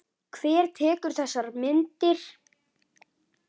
Hver tekur þessar myndir?